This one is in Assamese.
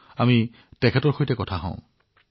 ডাঃ শশাংকৰ সৈতে কথা পাতোঁ আহক